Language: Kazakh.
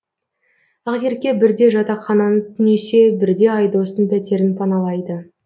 ақерке бірде жатақхананы түнесе бірде айдостың пәтерін паналайды